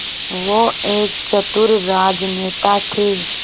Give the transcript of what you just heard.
वो एक चतुर राजनेता थे